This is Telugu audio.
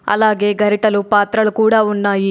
అలాగే గరిటలు పాత్రలు కూడా ఉన్నాయి.